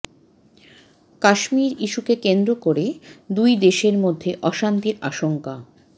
কাশ্মীর ইস্যুককে কেন্দ্র করে দুই দেশের মধ্যে অশান্তির আশঙ্কা